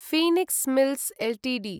Phoenix Mills Ltd